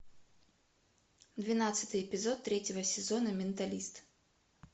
двенадцатый эпизод третьего сезона менталист